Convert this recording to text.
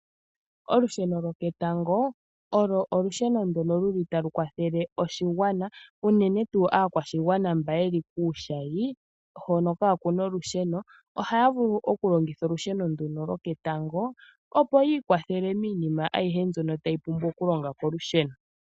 Olusheno lwoketango, olwo olusheno ndoka luli talu kwathele oshigwana, unene tuu aakwashigwana mboka yeli kuushayi hoka kaa ku na olusheno, ohaya vulu okulongitha olusheno ndoka lwoketango opo yi ikwathele miinima ayihe mbyono tayi pumbwa okulonga kolusheno.